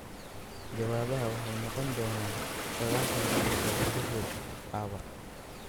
jawaabaha waxay noqon doonaan 90 daqiiqo gudahood caawa.